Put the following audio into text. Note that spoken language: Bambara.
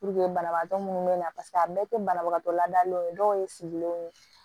banabagatɔ munnu bɛ na paseke a bɛɛ tɛ banabagatɔ ladalenw ye dɔw ye sigilenw